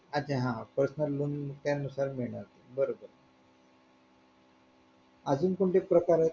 अच्छा हा personal loan त्यानुसार मिळणार बरोबर अजून कोणते प्रकार आहेत